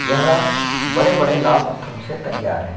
यह बड़े-बड़े लाल पत्थरों से तैयार है।